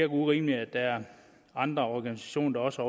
urimeligt at der er andre organisationer der også